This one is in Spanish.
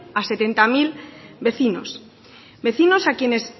a setenta mil vecinos vecinos a quienes